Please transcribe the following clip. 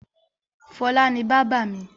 Fọlá ni bábà mi.